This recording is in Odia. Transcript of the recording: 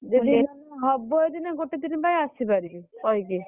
ଯଦି ହବ ଯଦି ନା ଗୋଟେ ଦିନ ପାଇଁ ଆସିପାରିବି କହିକି।